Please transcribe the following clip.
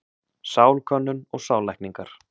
Sálkönnun og sállækningar.